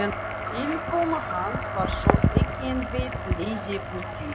Tilkoma hans var þó ekki einbert gleðiefni fyrir